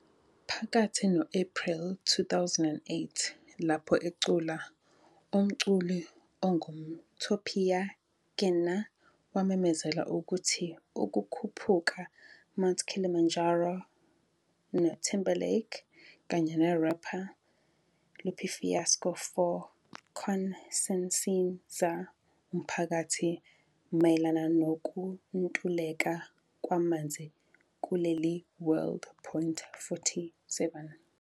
Phakathi no-April 2008, lapho ecula, umculi ongumTopiya Kenna wamemezela ukuthi ukukhuphuka Mount Kilimanjaro ne Timberlake kanye rapper Lupe Fiasco for conciencizar umphakathi mayelana nokuntuleka kwamanzi kuleli world.47